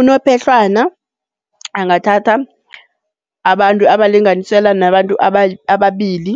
Unophehlwana, angathatha abantu abalinganiselwa nabantu ababili